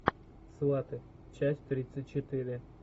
сваты часть тридцать четыре